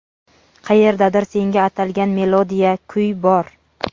Qayerdadir senga atalgan melodiya, kuy bor.